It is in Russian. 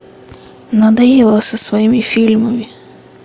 надоела со своими фильмами